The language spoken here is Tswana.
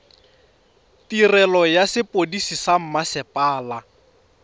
tirelo ya sepodisi sa mmasepala